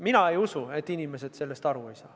Mina ei usu, et inimesed sellest aru ei saa.